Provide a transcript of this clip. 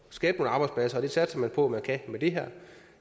skabe arbejdspladser og det satser man på man kan med det her